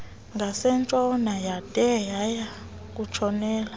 ngasentshona yade yayakutshonela